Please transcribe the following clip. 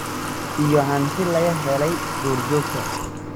iyo hanti laga helay duurjoogta.